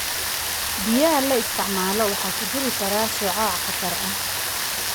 Biyaha la isticmaalo waxa ku jiri kara shucaac khatar ah.